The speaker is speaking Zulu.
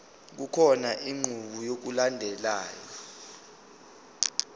kukhona inqubo yokulandelayo